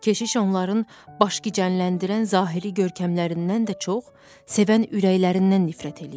Keşiş onların başgicəlləndirən zahiri görkəmlərindən də çox sevən ürəklərindən nifrət eləyirdi.